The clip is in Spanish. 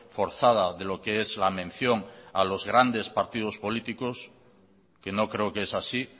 forzada de lo que es la mención a los grandes partidos políticos que no creo que es así